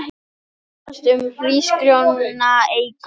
Berjast um hrísgrjónaekru